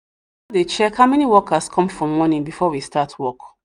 dey check how many worker come for morning before we start work